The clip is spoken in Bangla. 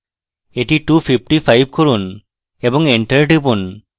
এটি 255 করুন এবং enter টিপুন